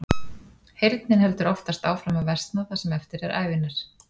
Heyrnin heldur oftast áfram að versna það sem eftir er ævinnar.